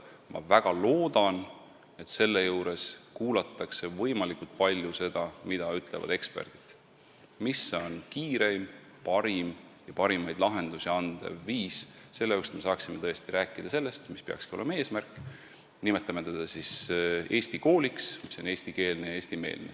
Ma väga loodan, et seejuures kuulatakse võimalikult palju seda, mida ütlevad eksperdid, milline on kiireim ja parimaid lahendusi andev viis, et me saaksime tõesti rääkida sellest, mis peakski olema eesmärk – nimetame seda siis Eesti kooliks, mis on eestikeelne ja eestimeelne.